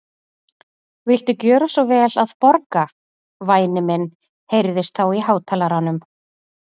Viltu gjöra svo vel að borga, væni minn heyrðist þá í hátalaranum.